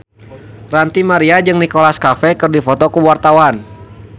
Ranty Maria jeung Nicholas Cafe keur dipoto ku wartawan